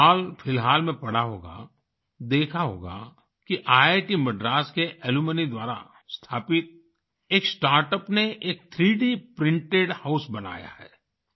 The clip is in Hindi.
आपने हालफिलहाल में पढ़ा होगा देखा होगा कि ईआईटी मद्रास के अलुम्नी द्वारा स्थापित एक स्टार्टअप ने एक 3D प्रिंटेड हाउस बनाया है